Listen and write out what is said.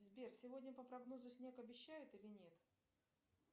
сбер сегодня по прогнозу снег обещают или нет